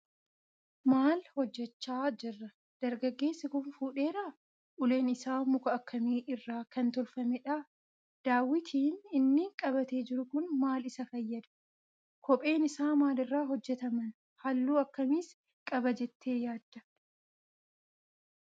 Maal hojjechaa jira? Dargaggeessi kun fuudheeraa? Uleen isaa muka akkamii irraa kan tolfamedha? Dawitiin inni qabatee jiru kun maal isa fayyada? Kopheen isaa maal irraa hojjetaman? Halluu akkamiis qaba jettee yaadda?